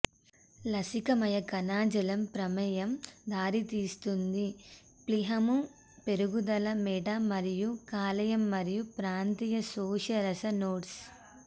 లసికామయ కణజాలం ప్రమేయం దారితీస్తుంది ప్లీహము పెరుగుదల మెడ మరియు కాలేయం మరియు ప్రాంతీయ శోషరస నోడ్స్